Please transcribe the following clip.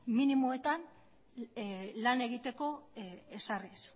minimoetan lan egiteko ezarriz